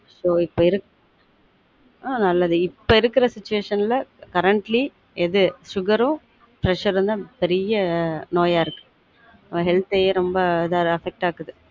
ஒ இப்ப இருக்க ஆன் இப்பொ இருக்குர situation ல currently எது sugar உம் pressure உம் தான் பெரிய நோயா இருக்கு நம்ம healtlh யே ரொம்ப இது affect ஆ ஆக்குது